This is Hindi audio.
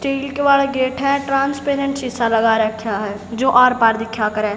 स्टील के वाला गेट है ट्रांसपेरेंट शीशा लगा रखा है जो आर पार दिखा करें।